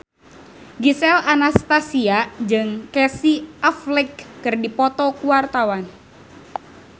Gisel Anastasia jeung Casey Affleck keur dipoto ku wartawan